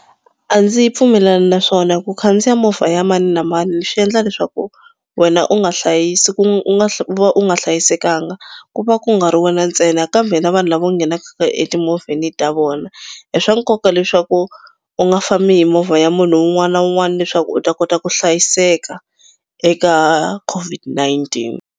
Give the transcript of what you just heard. A ndzi pfumelelani na swona ku khandziya movha ya mani na mani swi endla leswaku wena u nga u va u nga hlayisekanga. Ku va ku nga ri wena ntsena kambe na vanhu lava u nghenaka etimovheni ta vona. I swa nkoka leswaku u nga fambi hi movha ya munhu un'wana na un'wana leswaku u ta kota ku hlayiseka eka COVID-19.